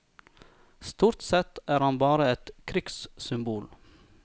Stort sett er han bare et krigssymbol.